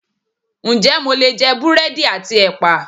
Ǹjẹ́ mo lè jẹ búrẹ́dì àti ẹpa?